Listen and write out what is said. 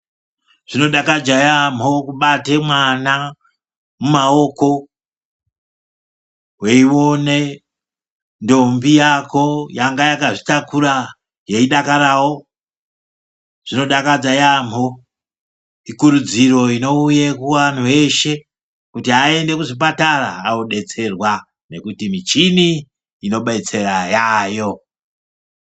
Zvinodakadze yaambho kubate mwana mumaoko weione ndombi yako yanga yakazvitakura yeidakarawo, zvinodakadza yaambho ikurudziro inouye kuvanthu veshe kuti aende kuzvipatara andobetserwa ngekuti michini inodetsera yaayo.